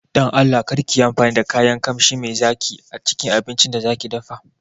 Don Allah karki yi amfani da kayan Ƙamshi mai zaki acikin abincin da zaƙi dafa